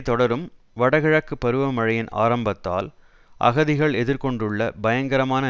தொடரும் வடகிழக்கு பருவ மழையின் ஆரம்பத்தால் அகதிகள் எதிர் கொண்டுள்ள பயங்கரமான